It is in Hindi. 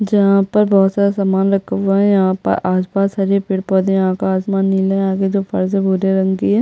जहाँ पर बहोत सारा सामान रखा हुआ है यहाँ पर आसपास सभी पेड़-पौधे यहाँ पर आसमान नीला है यहाँ की जो फर्श है वो भूरे रंग की है।